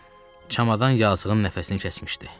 Çamadan yazıqın nəfəsini kəsmişdi.